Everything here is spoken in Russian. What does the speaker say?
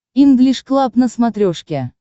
инглиш клаб на смотрешке